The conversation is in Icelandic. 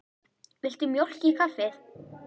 Viltu mjólk í kaffið?